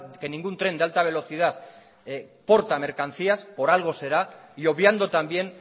que ningún tren de alta velocidad porta mercancías por algo será y obviando también